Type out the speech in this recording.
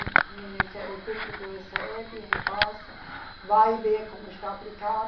O Ministério Público recebe, repassa, vai ver como está aplicado.